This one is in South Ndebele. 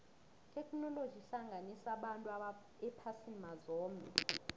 itheknoloji ihlanganisa abantu ephasini mazombe